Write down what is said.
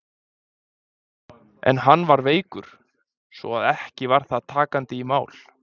En hann var veikur, svo að ekki var það takandi í mál.